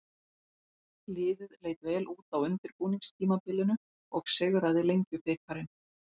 Liðið leit vel út á undirbúningstímabilinu og sigraði Lengjubikarinn.